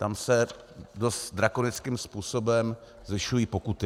Tam se dost drakonickým způsobem zvyšují pokuty.